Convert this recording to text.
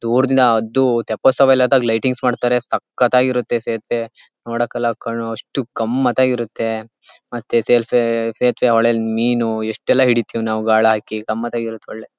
ದೂರದಿಂದ ಅದು ತಪೋತ್ಸವ ಲೈಟಿಂಗ್ ಮಾಡತಾರೆ ಸಕ್ಕತ್ತಾಗಿ ಇರುತ್ತೆ ಸೇತುವೆ ನೋಡೋಕ್ಕಲ್ಲಾ ಕಣ್ ಅಷ್ಟು ಕಮ್ಮ ಅಂತ ಇರುತ್ತೆ ಮತ್ತೆ ಸೇತುವೆ ಸೇತುವೆ ಹೊಳೆಲ್ಲಿ ಮೀನು ಎಷ್ಟೇಲ್ಲಾ ಹಿಡಿತೀವಿ ನಾವು ಗಾಳ ಹಾಕಿ ತಮ್ಮದೇ ಸೊಳ್ಳೆ .